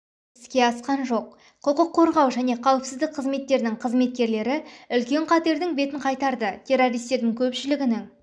іске асқан жоқ құқық қорғау және қауіпсіздік қызметтерінің қызметкерлері үлкен қатердің бетін қайтарды террористердің көпшілігінің